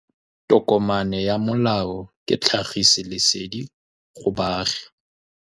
Tokomane ya molao ke tlhagisi lesedi go baagi.